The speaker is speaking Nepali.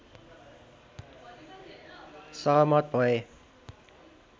सहमत भए